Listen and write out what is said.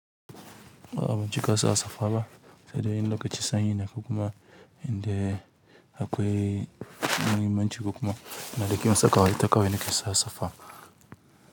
Ah ban cika sa safa ba, sai dai in lokacin sanyi ne ko kuma indai akwai muhimmanci ko kuma ina ɗaki kawai nake sa safa.